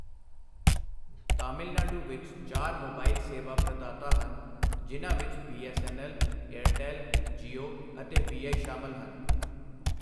ਤਾਮਿਲਨਾਡੂ ਵਿੱਚ ਚਾਰ ਮੋਬਾਈਲ ਸੇਵਾ ਪ੍ਰਦਾਤਾ ਹਨ ਜਿਨ੍ਹਾਂ ਵਿੱਚ ਬੀ.ਐੱਸ.ਐੱਨ.ਐੱਲ., ਏਅਰਟੈੱਲ, ਜੀਓ ਅਤੇ ਵੀ.ਆਈ. ਸ਼ਾਮਲ ਹਨ।